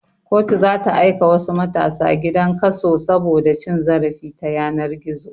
Kotu zata aika wasu matasa gidan kaso saboda cin zarafi ta yanar gizo